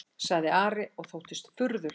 sagði Ari og þóttist furðulostinn.